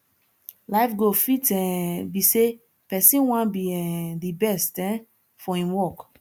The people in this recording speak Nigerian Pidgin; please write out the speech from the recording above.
life goal fit um be sey person wan be um di best um for im work